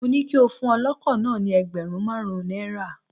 Mó ní kí o fún ọlọ́kọ̀ náà ni ẹgbẹ̀rún márùn-ún náírà.